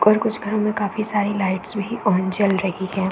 और कुछ घरों में काफी सारी लाइट्स भी ऑन जल रही है।